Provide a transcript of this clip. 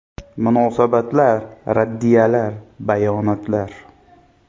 Munosabatlar, raddiyalar, bayonotlar.